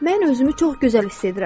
Mən özümü çox gözəl hiss edirəm.